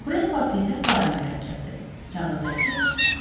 Prespapiedə qara mürəkkəbdir, kağızdakı qırmızı.